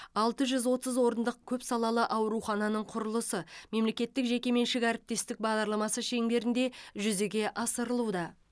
алты жүз отыз орындық көпсалалы аурухананың құрылысы мемлекеттік жекеменшік әріптестік бағдарламасы шеңберінде жүзеге асырылуда